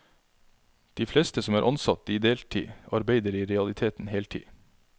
De fleste som er ansatt i deltid, arbeider i realiteten heltid.